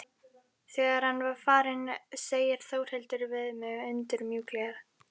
Þegar hann er farinn segir Þórhildur við mig undur mjúklega.